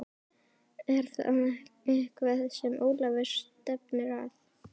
Er það eitthvað sem Ólafur stefnir að?